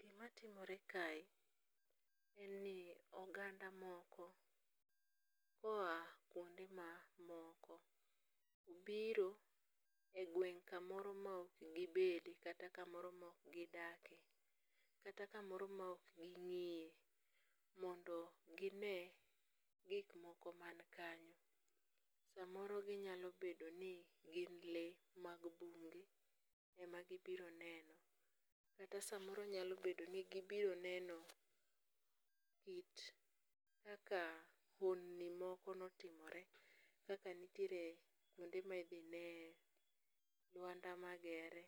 Gimatimore kae, en ni oganda moko, koa kuonde mamoko obiro e gweng' kamoro ma ok gibedie, kata kamoro ma ok gidakie, kata kamoro ma ok gingeyo mondo gine gik moko man kanyo samoro ginyalo bedo ni gin lee mag mbugu ema gibiro neno, kata samoro nyalo bedo ni gibiro neno lit kaka honni moko ne otimore kaka nitiere kuonde ma idhi ne lwanda magere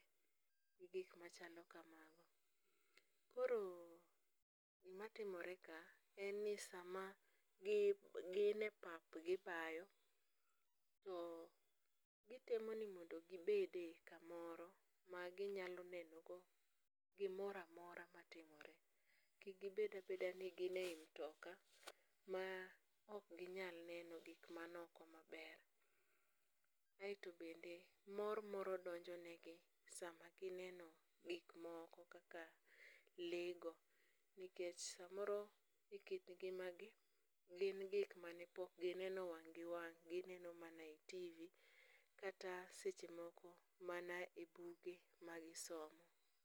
gi gik machalo kamago. Koro gimatimore kae en ni sama gine pap gibayo to gitemo ni mondo gibede kamoro maginyalo nenogo gimoro amora matimore kik bed abeda ni gin e yi mtoka ma ok ginyal neno gik man oko maber, kaeto bende mor moro donjonegi sama gineno gik moko kaka lee go nikech samoro e kit ng'imagi gin gik mane pok gineno wang' gi wang' gineno mana e tv kata sechemoko mana e buge magisomo